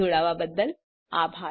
જોડાવા બદ્દલ આભાર